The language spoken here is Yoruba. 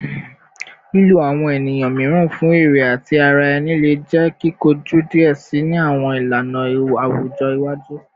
Lilo awọn eniyan miiran fun ere ti ara ẹni le jẹ kikoju diẹ sii ni awọn ilana awujọ iwaju